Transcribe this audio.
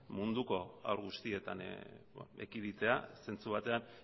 munduko haur guztietan ekiditea zentzu batean